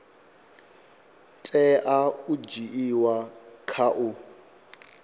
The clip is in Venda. tea u dzhiiwa kha u